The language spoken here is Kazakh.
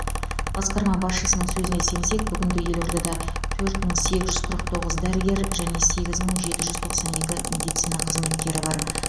басқарма басшысының сөзіне сенсек бүгінде елордада төрт мың сегіз жүз қырық тоғыз дәрігер және сегіз мың жеті жүз тоқсан екі медицина қызметкері бар